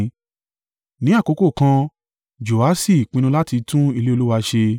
Ní àkókò kan, Joaṣi pinnu láti tún ilé Olúwa ṣe.